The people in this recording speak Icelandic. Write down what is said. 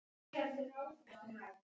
Þeim er hrundið upp.